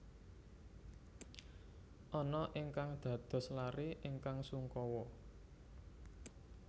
Anna ingkang dados laré ingkang sungkawa